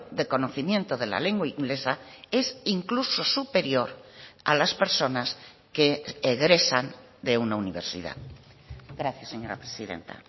de conocimiento de la lengua inglesa es incluso superior a las personas que egresan de una universidad gracias señora presidenta